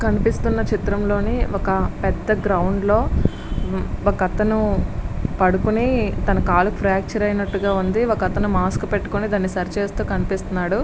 కనిపిస్తున్న చిత్రంలోని ఒక పెద్ద గ్రౌండ్లో ఒక అతను పడుకొని తన కాళ్లు ఫ్రాక్చర్ అయినట్లుగా ఉంది. ఒక అతను మాస్కో పెట్టుకొని సరి చేస్తున్నట్టు కనిపిస్తున్నడు.